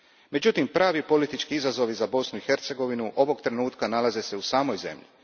Međutim, pravi politički izazovi za Bosnu i Hercegovinu ovog trenutka nalaze se u samoj zemlji.